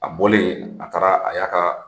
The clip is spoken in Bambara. A bolen a taara a y'a ka